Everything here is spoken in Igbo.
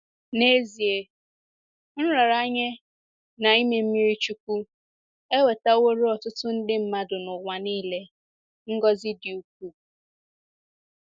N’ezie, nraranye na ime mmiri chukwu ewetaworo ọtụtụ nde mmadụ n’ụwa nile ngọzi dị ukwuu.